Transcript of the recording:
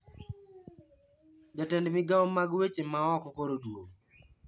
Jatend migao mag weche ma oko koro oduogo